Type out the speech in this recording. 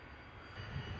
Tam üstündədir.